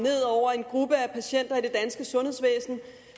en gruppe af patienter i det danske sundhedsvæsen